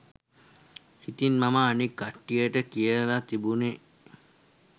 ඉතින් මම අනික් කට්ටියට කියල තිබුණේ